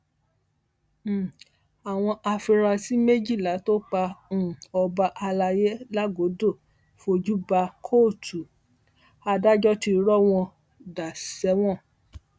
um àwọn afurasí méjìlá tó pa um ọba alay làgọdọ fojú bá kóòtù adájọ ti rọ wọn dà sẹwọn